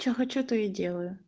что хочу то и делаю